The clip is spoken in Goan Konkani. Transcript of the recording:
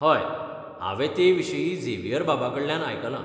हय, हावें ते विशीं झेवियरबाबाकडल्यान आयकलां.